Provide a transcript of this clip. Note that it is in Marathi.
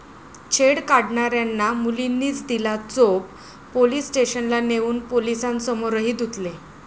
छेड काढणाऱ्यांना मुलींनीच दिला चोप, पोलीस स्टेशनला नेऊन पोलिसांसमोरही धुतले